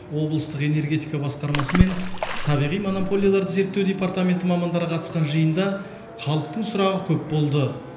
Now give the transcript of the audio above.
облыстық энергетика басқармасы мен табиғи монополияларды зерттеу департаменті мамандары қатысқан жиында халықтың сұрағы көп болды